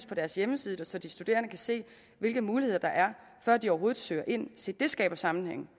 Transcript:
på deres hjemmeside så de studerende kan se hvilke muligheder der er før de overhovedet søger ind se det skaber sammenhæng